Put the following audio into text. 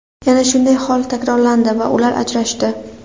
Yana shunday hol takrorlandi va ular ajrashdi.